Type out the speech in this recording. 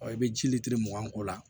i bɛ ji lelitiri mugan k'o la